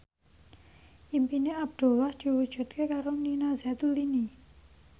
impine Abdullah diwujudke karo Nina Zatulini